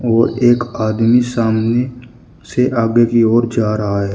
और एक आदमी सामने से आगे की ओर जा रहा है।